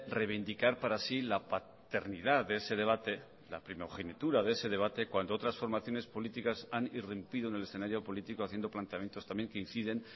reivindicar para sí la paternidad de ese debate la primogenitura de ese debate cuando otras formaciones políticas han irrumpido en el escenario político haciendo planteamientos también que inciden